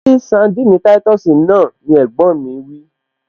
Ṣí sandini táìtọ̀sì náà! ni ẹ̀gbọ́n mi wí